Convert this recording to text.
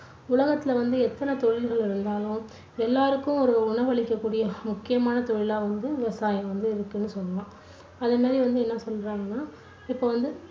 உலகத்துல வந்து எத்தனை தொழில்கள் இருந்தாலும் எல்லாருக்கும் ஒரு உணவளிக்க கூடிய முக்கியமான தொழிலா வந்து விவசாயம் வந்து இருக்குன்னு சொல்லலாம்